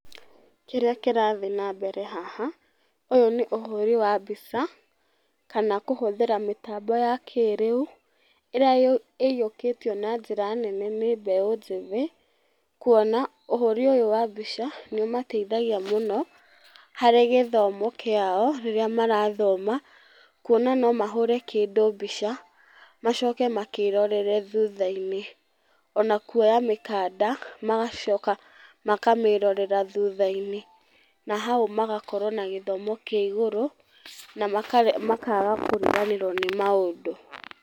Kĩrĩa kĩrathi na mbere haha, ũyũ nĩ ũhũri wa mbica kana kũhũthĩra mĩtambo ya kĩrĩu ĩrĩa ũyũkĩtio na njĩra nene nĩ mbeũ njĩthĩ, kuona ũhũri ũyũ wa mbica nĩũmateithagia mũno, harĩ gĩthomo kĩao rĩrĩa marathoma. Kuona no mahũre kĩndũ mbica macoke makĩrorere thutha-inĩ. Ona kuoya mĩkanda magacoka makamĩrorera thutha-inĩ na hau magakorwo na gĩthomo kĩa igũrũ na makaga kũriganĩrwo nĩ maũndũ.